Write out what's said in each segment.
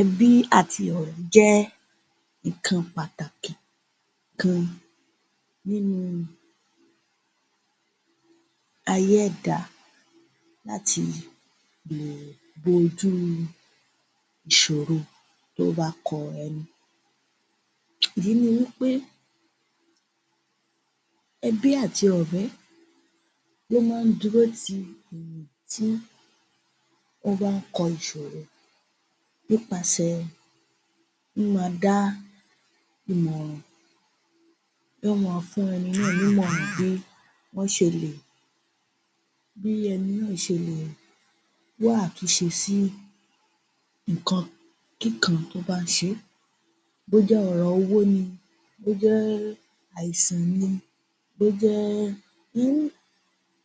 Ẹbí àti ọ̀rẹ́ jẹ́ nǹkan pàtàkì kan nínú ayé ẹ̀dá láti lè bo ojú ìṣòro tó bá kọ ẹni. Ìdí ni wí pé ẹbí àti ọ̀rẹ́ lo máa ń dúró ti èèyàn tí ó bá ń kọ ìṣòro nípasẹ̀ míma dá ìmọ̀ràn. Yóò máa fún ẹni náà ní ìmọ̀ràn bí wọ́n ṣe lè bí ẹni náà ṣe lè wá àtúnṣe sí nǹkan kí kan tó bá ń ṣe. Bó jẹ́ ọ̀rọ̀ owó ni, bó jẹ́ àìsàn ni, bó jẹ́ um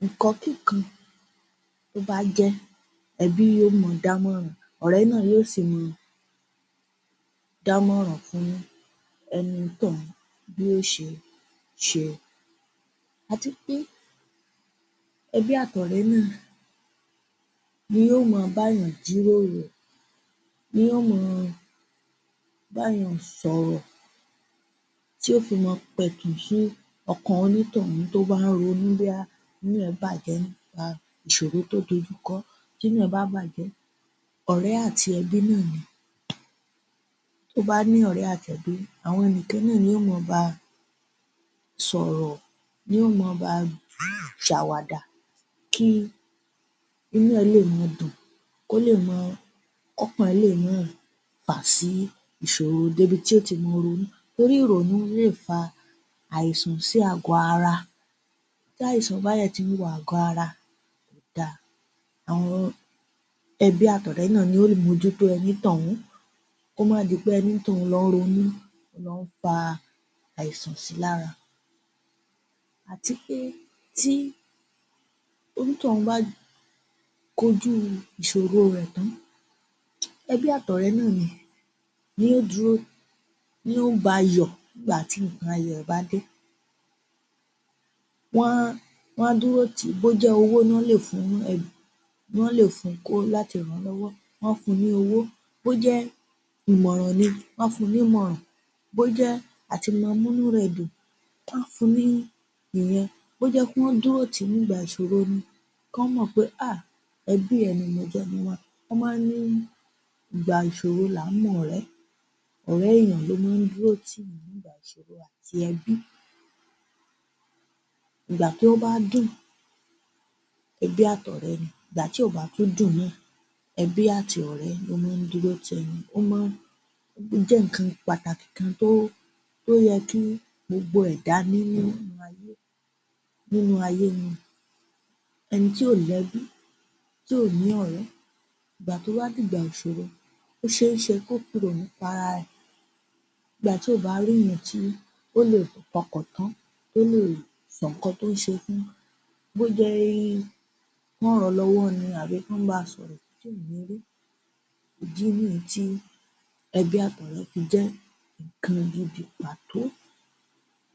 nǹkan kí kan tó bá jẹ́ ẹbí yóò máa dámọ̀ràn, ọ̀rẹ́ náà yóò sì máa dámọ̀ràn fún ẹní tọ̀hún bí ó ṣe se. Àti pé ẹbí àti ọ̀rẹ́ náà ni yóò máa bá yàn jíròrò, ni ó máa bá yàn sọ̀rọ̀ tí ó fi máa pẹ̀tù sí ọkàn onítọ̀hún tó bá ń ronú bóyá inú ẹ bàjẹ́ nípa ìṣòro tó dojú kọ ọ́ tínú ẹ̀ bá bàjẹ́ ọ̀rẹ́ àti ẹbí náà ni. Tó bá ní ọ̀rẹ́ àti ẹbí àwọn nìkan náà ni ó máa ba sọ̀rọ̀ ni ó máa ba ṣàwàdà kí inú ẹ̀ lè ma dùn. Ó lè máa, ọkàn lè máa fà sí ìṣòro débi tí ó ti máa ronú torí ìrònú lè fa àìsàn sí àgọ̀ ara. Tí àìsàn bá dẹ̀ tiwo àgọ̀ ara àwọn ẹbí àti ọ̀rẹ́ náà ni ó mú ojú tó o ní tọ̀hún kò má di pé onítọ̀hún ló ń ronú ó lọ́ ń fa àìsàn si lára. Àti pé tí onítọ̀hún bá kojú ìṣòro rẹ̀ tán, ẹbí àtọ̀rẹ́ náà ni yóò dúró, yóò bayọ̀ nígbàtí nǹkan ayọ̀ bá dé. Wọ́n Wọ́n á dúró tìí, bójẹ́ owó nọ lè fún nọ́ lè fun kó láti rànlọ́wọ́ wọ́n á fun ní owó, bójẹ́ ìmọ̀ràn ni, wọ́n á fún nímọ̀ràn, bójẹ́ àti ma múnú rẹ̀ dùn wọ́n á fun ní ìyẹn bójẹ́ wọ́n dúró tìí nígbà ìṣòro ni kán mọ̀ pé um ẹbí ẹ ni mo jẹ́. Wọ́n máa ń ni ìgbà ìṣòro làá mọ̀rẹ́, ọ̀rẹ́ èèyàn ló máa ń dúró tìyàn nígbà ìṣòro àti ẹbí. Ìgbà tó bá dùn ẹbí àtọ̀rẹ́ ni, ìgbà tí ò bá tún dùn náà, ẹbí àti ọ̀rẹ́ ni ó máa ń dúró ti ẹni o máa ń jẹ́ nǹkan pàtàkì kan tó tó yẹ kí gbogbo ẹ̀dá ní nínú ayé ni. Ẹni tí ò lẹ́bí tí ò ní ọ̀rẹ́ ìgbà tó bá dìgbà ìṣòro ó ṣééṣe kó fìrònú para rẹ̀ ìgbà tí ò bá ríyàn tí ó lè fọkàntọ́ tó lè sọ nǹkan tó ń ṣe fún bójẹ́ kán rànlọ́wọ́ ni àbí kán ba sọ̀rọ̀ tí ò ní rí ìdí nìyí tí ẹbí àtọ̀rẹ́ fi jẹ́ nǹkan gidi pàtó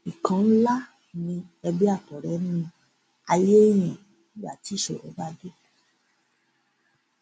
nǹkan ńlá ni ẹ̀bí àtọ̀rẹ́ ni ayé yìí ìgbà tí ìṣòro bá dé.